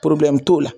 t'o la